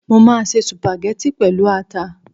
Mo máa se sùpàgẹ́tì pẹ̀lú ata